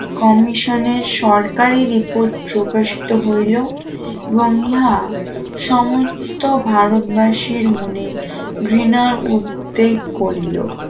কমিশনের সরকারি রিপোর্ট প্রকাশিত হইল এবং ইহা সমস্ত ভারতবাসীর মনে ঘৃণার উদ্যোগ করিল